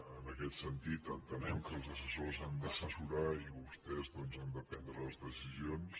en aquest sentit entenem que els assessors han d’assessorar i vostès doncs han de prendre les decisions